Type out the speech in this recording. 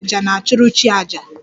Dibia 'aja' na-achụrụ chi aja